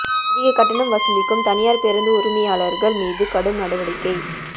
அதிக கட்டணம் வசூலிக்கும் தனியாா் பேருந்து உரிமையாளா்கள் மீது கடும் நடவடிக்கை